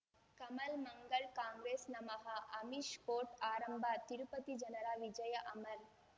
ಕಮಲ್ ಮಂಗಳ್ ಕಾಂಗ್ರೆಸ್ ನಮಃ ಅಮಿಷ್ ಕೋರ್ಟ್ ಆರಂಭ ತಿರುಪತಿ ಜನರ ವಿಜಯ ಅಮರ್